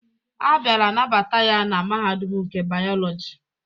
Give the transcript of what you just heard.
A bịara nabata ya na Mahadum nke Bayọlọji.